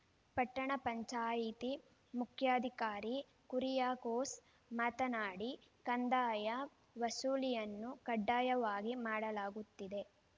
ಪಟ್ಟಣ ಪಂಚಾಯಿತಿ ಮುಖ್ಯಾಧಿಕಾರಿ ಕುರಿಯಾಕೋಸ್‌ ಮಾತನಾಡಿ ಕಂದಾಯ ವಸೂಲಿಯನ್ನು ಕಡ್ಡಾಯವಾಗಿ ಮಾಡಲಾಗುತ್ತಿದೆ